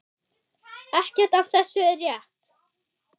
Ekkert af þessu er rétt.